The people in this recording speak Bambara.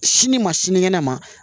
Sini ma sinikɛnɛ ma